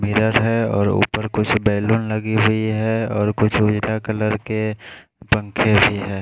Mirror है और ऊपर कुछ बैलून लगी हुई है और कुछ उजला कलर के पंखे भी है।